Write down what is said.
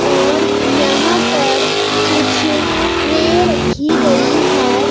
और यहां पर कुछ ट्रे रखी गई है।